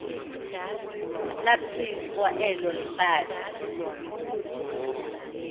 laphicwa elo hlathi